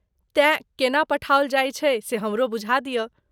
तेँ, केना पठाओल जायत छै से हमरो बूझा दिअऽ।